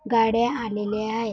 गाड्या आलेल्या आहेत.